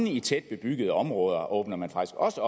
i tæt bebyggede områder åbner man faktisk også